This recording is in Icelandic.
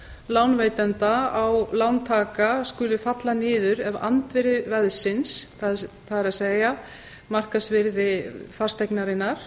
lánveitanda á lántaka skuli falla niður ef andvirði veðsins það er markaðsvirði fasteignarinnar